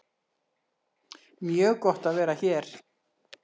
Mjög gott að vera hér